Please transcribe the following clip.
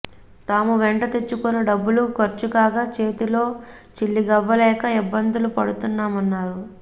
తాము వెంట తెచ్చుకున్న డబ్బులు ఖర్చు కాగా చేతిలో చిల్లిగవ్వ లేక ఇబ్బందులు పడుతున్నామన్నారు